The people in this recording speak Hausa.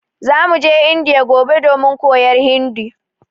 Zamu je Indiya gobe domin koyar Hindi